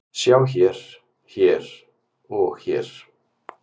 Sjá hér, hér og hér.